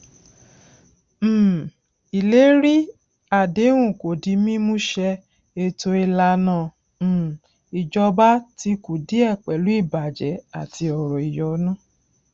um ìlérí àdéhùn kò di mímú ṣẹ ètò ìlànà um ìjọba ti kùdìẹ pẹlú ìbàjẹ àti ọrọ ìyọnu